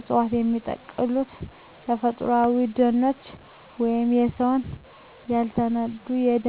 ዕፅዋት የሚበቅሉት በተፈጥሮአዊ ደኖች ወይም በሰው ያልተነኩ የደን አካባቢዎች ውስጥ ነው። እነዚህ አካባቢዎች ለግብርና፣ ለእንጨት ወይም ለከተማ መስፋፋት ሲጠፉ፣ የእፅዋቱም ዝርያ አብሮ ይጠፋል።